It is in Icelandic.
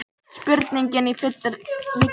Spurningin í fullri lengd hljómaði svona: